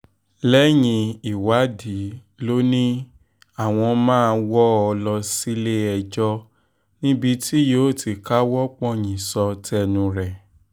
lẹ́yìn ìwádìí ló ní àwọn máa wọ́ ọ lọ sílé-ẹjọ́ níbi tí yóò ti káwọ́ pọ̀nyìn sọ tẹnu ẹ̀